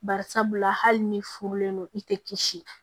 Bari sabula hali ni furulen don i tɛ kisi